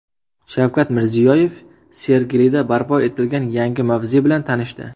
Shavkat Mirziyoyev Sergelida barpo etilgan yangi mavze bilan tanishdi.